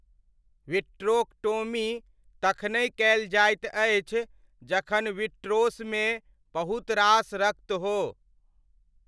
Vitrectomy तखनहि कयल जाइत अछि जखन विट्रोसमे बहुत रास रक्त हो।